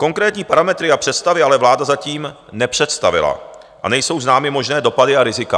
Konkrétní parametry a představy ale vláda zatím nepředstavila a nejsou známy možné dopady a rizika.